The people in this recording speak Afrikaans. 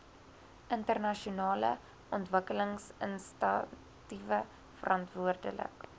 internasionale ontwikkelingsinisiatiewe verantwoordelik